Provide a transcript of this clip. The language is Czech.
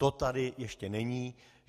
To tady ještě není.